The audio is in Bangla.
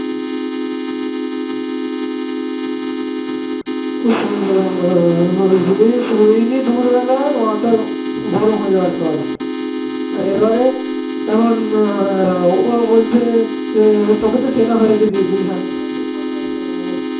এবারে এমন ও বলছে যে এমন তোকে তো চেনা হয়নি অ্যানো তেন কথা এসব ও